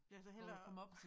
Ja så hellere